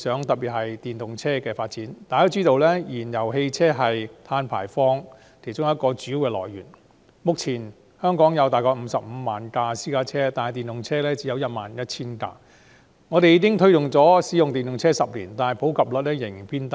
大家也知道，燃油汽車是碳排放的主要來源之一，目前全港約有 550,000 輛私家車，但電動車只有 11,000 輛，我們推動使用電動車已有10年，但普及率仍然偏低。